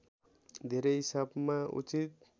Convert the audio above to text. धेरै हिसाबमा उचित